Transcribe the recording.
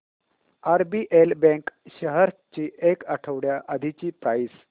RBL bank shares ची एक आठवड्या आधीची प्राइस